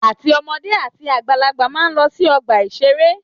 Àti ọmọdé àti àgbàlagbà máa ń lọ sí ọgbà-ìṣeré